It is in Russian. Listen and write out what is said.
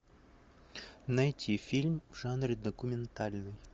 найти фильм в жанре документальный